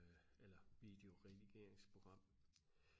eller videoredigeringsprogram